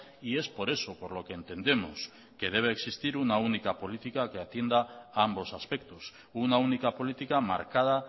y es por eso por lo que entendemos que debe existir una única política que atienda a ambos aspectos una única política marcada